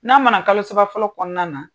N'a mana kalo saba fɔlɔ kɔnɔna na